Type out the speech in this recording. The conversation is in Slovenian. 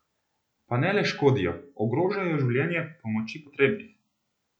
Pa ne le škodijo, ogrožajo življenje pomoči potrebnih!